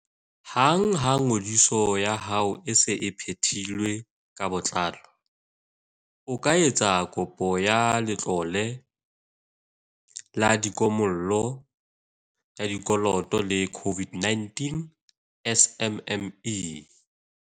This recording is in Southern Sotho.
Hang ha ngodiso ya hao e se e phethilwe ka botlalo, o ka etsa kopo ya Letlole la Kimollo ya Dikoloto la COVID-19 SMME.